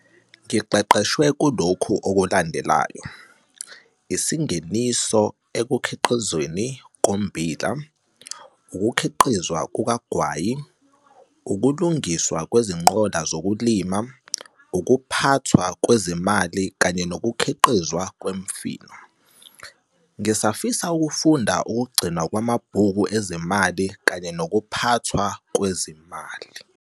Ngiqeqeshwe kulokhu okulandelayo- ISingeniso ekuKhiqizweni koMmbila, ukuKhiqizwa kukaGwayi, ukuLungiswa kweziNqola zokulima, UkuPhathwa kweziMali kanye nokuKhiqizwa kweMifino. Ngisafisa ukufunda ukuGcinwa kwamaBhuku eziMali kanye nokuPhathwa kweziMali.